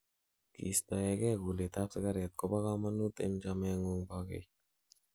kistoengei kulet ab sigaret kobo kamanut en chameengung bogei